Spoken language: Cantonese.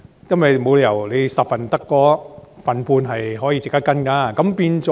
因為沒理由在10宗報告中只有 1.5 宗值得跟進。